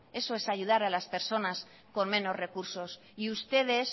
eso es ayudar a la personas con menos recursos y ustedes